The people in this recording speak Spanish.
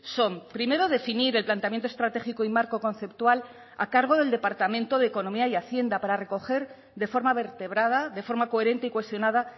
son primero definir el planteamiento estratégico y marco conceptual a cargo del departamento de economía y hacienda para recoger de forma vertebrada de forma coherente y cohesionada